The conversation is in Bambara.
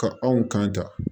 Ka anw kan ta